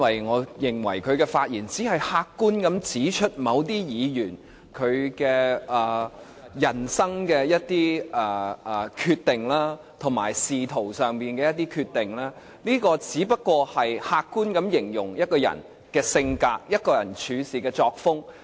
我認為他的發言只是客觀地指出某些議員的人生及仕途上一些決定，只是客觀地形容一個人的性格及處事作風。